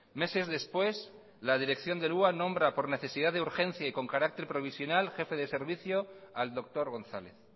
meses después la dirección del hua nombre por necesidad de urgencia y con carácter provisional jefe de servicio al doctor gonzález